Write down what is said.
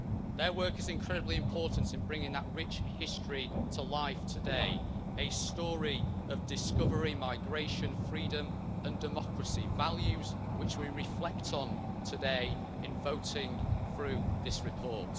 Their work is incredibly important in bringing that rich history to life today a story of discovery, migration, freedom and democracy, values which we reflect on today in voting through this report.